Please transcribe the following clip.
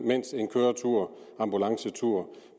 mens en køretur